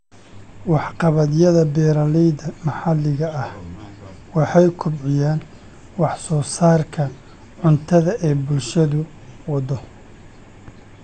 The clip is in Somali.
Waxqabadyada beeralayda maxalliga ah waxay kobciyaan wax-soo-saarka cuntada ee bulshadu waddo.